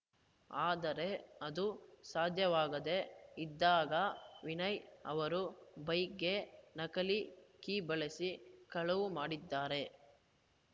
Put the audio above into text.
ಆದರೆ ಅದು ಸಾಧ್ಯವಾಗದೇ ಇದ್ದಾಗ ವಿನಯ್‌ ಅವರು ಬೈಕ್‌ಗೆ ನಕಲಿ ಕೀ ಬಳಸಿ ಕಳವು ಮಾಡಿದ್ದಾನೆ